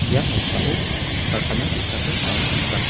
ia noksao karkana ge·sako anga nika.